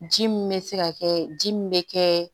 Ji min bɛ se ka kɛ ji min bɛ kɛ